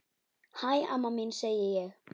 Hæ, amma mín, segi ég.